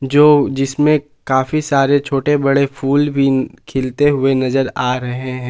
जो जिसमें काफी सारे छोटे बड़े फूल भी खिलते हुए नजर आ रहे हैं।